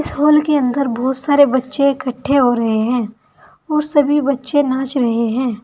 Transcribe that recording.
इस हॉल के अंदर बहुत सारे बच्चे इकट्ठे हो रहे हैं और सभी बच्चे नाच रहे हैं।